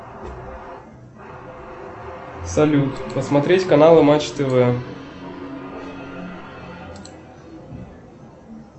салют посмотреть каналы матч тв